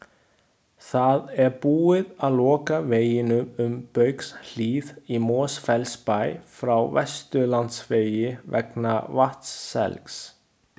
Það er búið að loka veginum um Baugshlíð í Mosfellsbæ frá Vesturlandsvegi vegna vatnselgs.